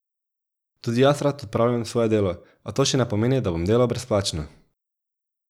Tudi jaz rad opravljam svoje delo, a to še ne pomeni, da bom delal brezplačno.